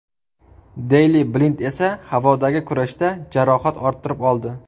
Deyli Blind esa havodagi kurashda jarohat orttirib oldi.